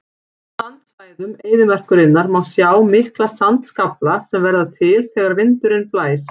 Á sandsvæðum eyðimerkurinnar má sjá mikla sandskafla sem verða til þegar vindurinn blæs.